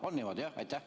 On niimoodi, jah?